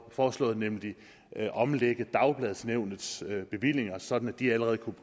foreslået nemlig at omlægge dagbladsnævnets bevillinger sådan at de allerede kunne